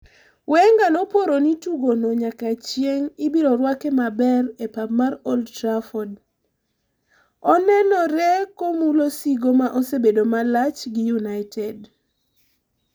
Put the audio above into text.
Wenger noporo ni tugo no nyaka chieng' ibiro rwake maber e pap mar Old Trafford, anenore komulo sigo ma osebedo malach gi United.